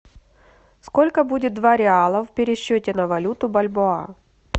сколько будет два реала в пересчете на валюту бальбоа